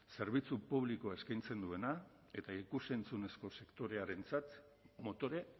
zerbitzu publikoa eskaintzen duena eta ikus entzunezko sektorearentzat motore